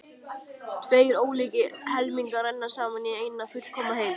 Tveir ólíkir helmingar renna saman í eina fullkomna heild.